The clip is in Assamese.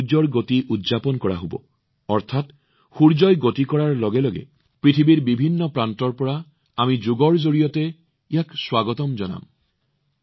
ইয়াত সূৰ্যৰ চলাচল উদযাপন কৰা হব অৰ্থাৎ সূৰ্য ভ্ৰমণ কৰাৰ লগে লগে পৃথিৱীৰ বিভিন্ন প্ৰান্তৰ পৰা আমি যোগৰ জৰিয়তে ইয়াক স্বাগতম জনাম